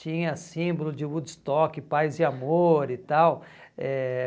Tinha símbolo de Woodstock, paz e amor e tal. Eh